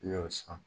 I y'o san